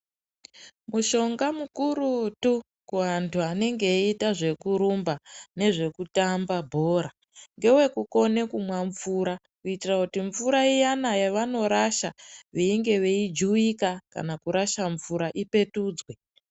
Mushonga mukurutu kuvantu anenge eyiita zvekurumba nezvekutamba bhora ngewekukone kumwa mvura, kuitira kuti mvura iyana yavanorasha veinge veijuwika kana kurasha mvura ipetudzwe.